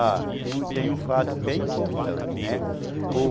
Ah, tem um fato bem importante, né?